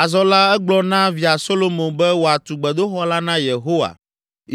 Azɔ la, egblɔ na ƒe via Solomo be wòatu gbedoxɔ la na Yehowa,